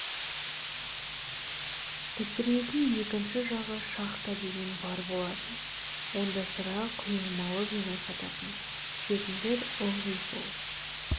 пісіретін екінші жағы шахта деген бар болатын онда сыра құйылмалы вино сататын ішетіндер ылғи сол